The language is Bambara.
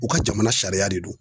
U ka jamana sariya de don